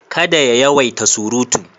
Kada ya yawaita surutu.